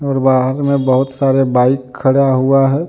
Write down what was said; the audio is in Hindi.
और बाहर मे बहुत सारे बाइक खड़ा हुआ है।